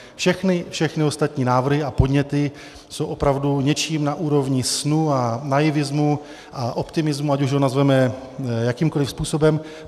Všechny ostatní návrhy a podněty jsou opravdu něčím na úrovni snu a naivismu a optimismu, ať už ho nazveme jakýmkoliv způsobem.